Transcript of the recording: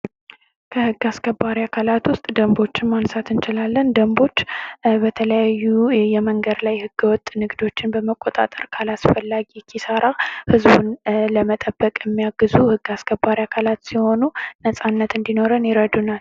ከህግ አስከባሪ አካላት ውስጥ ደንቦችን ማየት እንችላለን ጀንቦች በተለያዩ የመንገድ ላይ ህገወጥ ንግዶችን በመቆጣጠር ከአላስፈላጊ ኪሳራ ህዝቡን ለመጠበቅ የሚያግዙ ህግ አስከባሪ አካላት ሲሆኑ ነጻነት እንዲኖረን ይረዱናል።